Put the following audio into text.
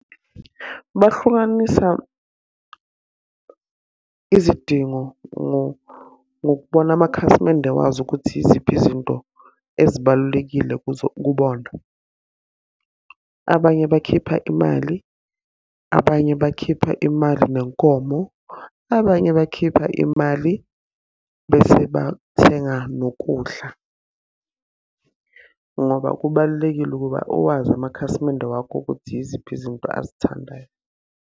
Bahlukanisa izidingo ngokubona amakhasimende wazo ukuthi yiziphi izinto ezibalulekile kubona. Abanye bakhipha imali, abanye bakhipha imali nenkomo, abanye bakhipha imali bese bathenga nokudla. Ngoba kubalulekile ukuba uwazi amakhasimende wakho ukuthi yiziphi izinto azithandayo.